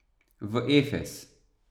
V Efez.